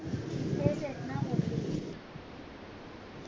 इथेच येत ना मुंबई